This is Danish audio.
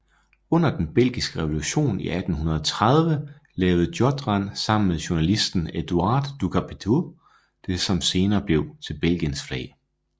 Under den belgiske revolution i 1830 lavede Jottrand sammen med journalisten Edouard Ducpétiaux det som senere blev til Belgiens flag